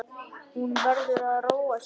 Hún verður að róa sig.